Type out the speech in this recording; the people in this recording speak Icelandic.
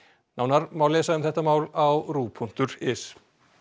nánar má lesa um þetta mál á ruv punktur is